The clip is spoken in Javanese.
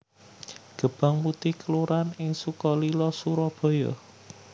Gebang Putih kelurahan ing Sukalila Surabaya